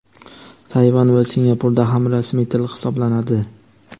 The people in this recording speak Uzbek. Tayvan va Singapurda ham rasmiy til hisoblanadi.